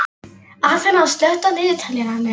Aþena, slökktu á niðurteljaranum.